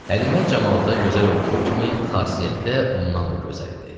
Həlimə camalda gözəl olduğu kimi, xasiyyətdə ondan da gözəl idi.